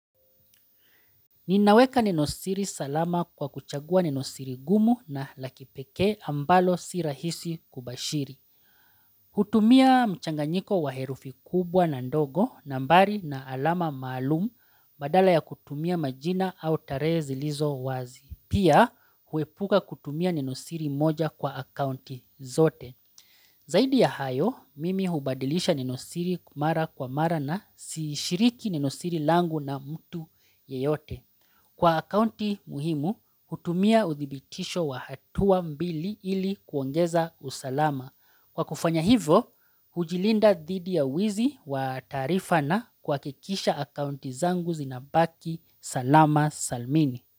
Ninaweka ninosiri salama kwa kuchagua ninosiri gumu na lakipeke ambalo sirahisi kubashiri. Hutumia mchanganyiko wa herufi kubwa na ndogo nambari na alama maalumu badala ya kutumia majina au tarehezi lizo wazi. Pia huepuka kutumia ninosiri moja kwa akaunti zote. Zaidi ya hayo, mimi hubadilisha ninosiri mara kwa mara na siishiriki ninosiri langu na mtu yeyote. Kwa akaunti muhimu, hutumia udhibitisho wa hatuwa mbili ili kuongeza usalama. Kwa kufanya hivo, hujilinda dhidi ya wizi wa taarifa na kwa kuhakikisha akaunti zangu zinabaki salama salmini.